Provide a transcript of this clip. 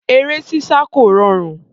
Eré sísá kò rọrùn.